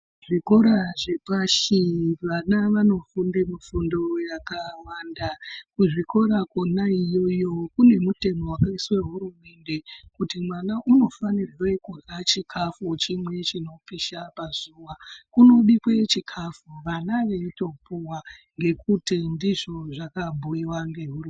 Zvikora zvepashi vana vanofunda mifundo yakawanda. Kuzvikora kona iyoyo kune mutemo vakaiswe hurumende kuti mwana unofanirwe kurya chikafu chimwe chinopisha pazuva. Kunobikwe chikafu vana veitopuva ngekuti ndizvo zvakabhuiva ngehurumende.